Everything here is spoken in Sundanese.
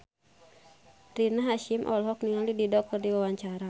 Rina Hasyim olohok ningali Dido keur diwawancara